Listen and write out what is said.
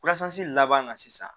laban na sisan